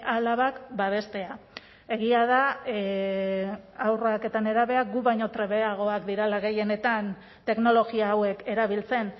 alabak babestea egia da haurrak eta nerabeak guk baino trebeagoak direla gehienetan teknologia hauek erabiltzen